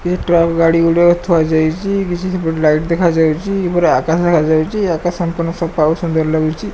ଏ truck ଗାଡି଼ ଗୁଡ଼ିକ ଥୁଆ ଯାଇଚି। କିଛି ସେପଟେ ଲାଇଟ୍ ଦେଖାଯାଉଚି। ପୁରା ଆକାଶ ଦେଖାଯାଉଚି। ଆକାଶ ସଂପୂର୍ଣ୍ଣ ସଫା ଓ ସୁନ୍ଦର ଲାଗୁଚି।